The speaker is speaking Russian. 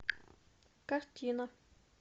картина